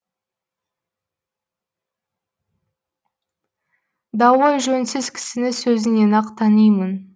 дауы жөнсіз кісіні сөзінен ақ танимын